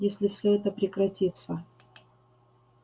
если всё это прекратится